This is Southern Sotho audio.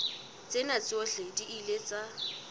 tsena tsohle di ile tsa